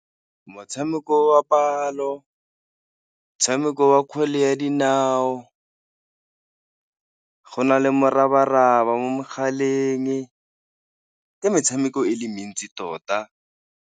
Motshameko wa palo, motshameko wa kgwele ya dinao, go na le moraba-raba mo mogaleng le metshameko e le mentsi tota.